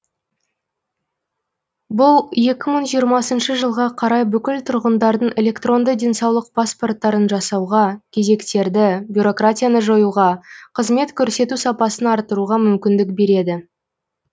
бұл екі мың жиырмасыншы жылға қарай бүкіл тұрғындардың электронды денсаулық паспорттарын жасауға кезектерді бюрократияны жоюға қызмет көрсету сапасын арттыруға мүмкіндік береді